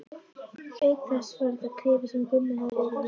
Auk þess var þetta klefinn sem Gummi hafði verið í.